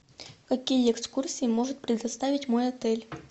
какие экскурсии может предоставить мой отель